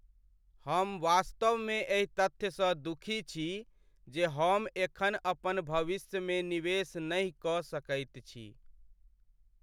हम वास्तवमे एहि तथ्यसँ दुखी छी जे हम एखन अपन भविष्यमे निवेश नहि कऽ सकैत छी।